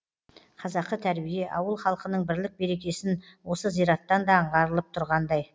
қазақы тәрбие ауыл халқының бірлік берекесін осы зираттан да аңғарылып тұрғандай